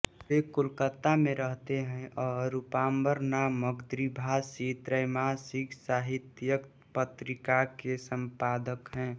वे कोलकाता में रहते हैं और रूपाम्बर नामक द्विभाषी त्रैमासिक साहित्यिक पत्रिका के सम्पादक हैं